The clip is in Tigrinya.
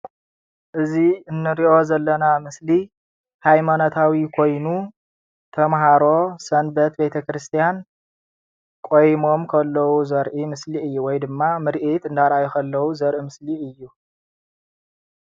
እዚ ንርኦ ዘለና ምስሊ ሃይማኖታዊ ኮይኑ ተምሃሮ ሰንበት ቤት ክርስትያን ቆሞም ከለው ዘርኢ ምስሊ እዩ ወይ ድማ ምርኢት እንዳርአየ ከሉው ዘርእ ምስሊ እዩ።